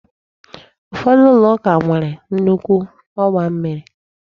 Ụfọdụ ụlọ ụka nwere nnukwu ọgba mmiri